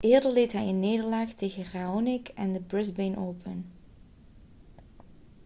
eerder leed hij een nederlaag tegen raonic in de brisbane open